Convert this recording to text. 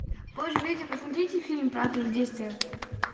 боже люди посмотрите фильм правда или действие